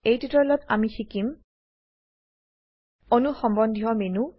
এই টিউটোৰিয়েলত আমি শিকিম অণু সম্বন্ধীয় মেনু